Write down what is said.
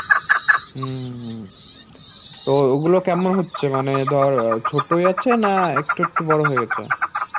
হম তো ওগুলো কেমন হচ্ছে? মানে ধর অ্যাঁ ছোটই আছে, না একটু একটু বড় হয়ে গেছে